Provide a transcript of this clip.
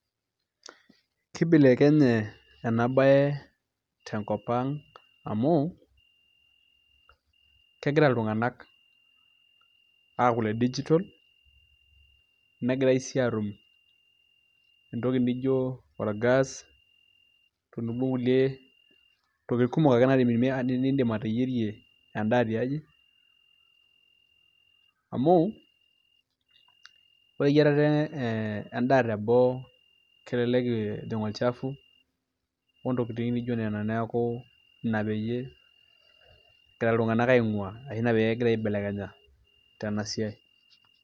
Kibelekenye ena baye tenkop ang' amu kegira iltung'anak aaku ile digital negirai sii aatum entoki nijio orgas tenebo okulie tokitin ake kumok niindim ateyierie endaa tiaji amu ore eyiarare endaa teboo kelelek ejing' olchafu ontokitin nijio nena, neeku ina peyie egira iltung'anak aing'uaa ashu ina pee egira aibelekenya tena siai.